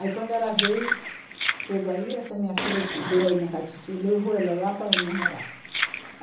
Aí, quando ela veio, chegou aí, essa minha filha te veio aí na casa de titio, levou ela lá para onde nós morava